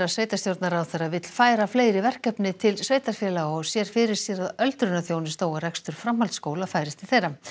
sveitarstjórnarráðherra vill færa fleiri verkefni til sveitarfélaga og sér fyrir sér að öldrunarþjónusta og rekstur framhaldsskóla færist til þeirra